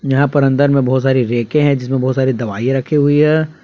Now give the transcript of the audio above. यहां पर अंदर में बहुत सारी रैके हैं जिसमें बहुत सारी दवाई रखी हुई है।